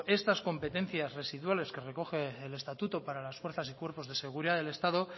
estas competencias residuales que recoge el estatuto para las fuerzas y cuerpos de seguridad del estado